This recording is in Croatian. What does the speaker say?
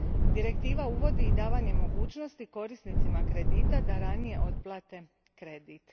Direktiva uvodi i davanje mogućnosti korisnicima kredita da ranije otplate kredit.